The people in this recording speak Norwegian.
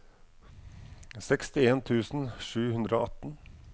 sekstien tusen sju hundre og atten